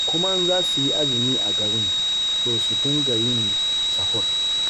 Kuma in za su yi azumi a garin, to su dinga yin sahur.